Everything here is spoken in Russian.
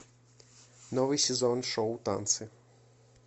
новый сезон шоу танцы